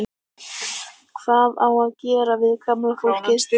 Hvað á að gera við gamla fólkið?